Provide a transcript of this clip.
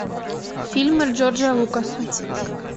фильмы джорджа лукаса